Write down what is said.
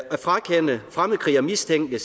at frakende fremmedkrigermistænkte